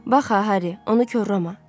Bax ha, Harri, onu korlama.